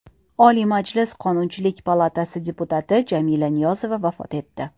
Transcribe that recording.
Oliy Majlis Qonunchilik palatasi deputati Jamila Niyozova vafot etdi.